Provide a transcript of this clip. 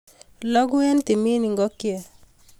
Loku en timin ikokyet